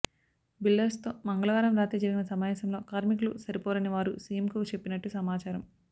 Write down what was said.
బిల్డర్స్తో మంగళవారం రాత్రి జరిగిన సమావేశంలో కార్మికులు సరిపోరని వారు సిఎంకు చెప్పినట్టు సమాచారం